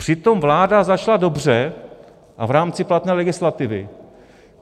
Přitom vláda začala dobře a v rámci platné legislativy.